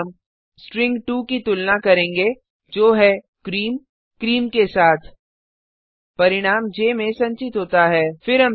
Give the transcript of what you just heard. इसमें हम स्ट्रिंग2 की तुलना करेंगे जो है क्रीम क्रीम के साथ परिणाम ज में संचित होता है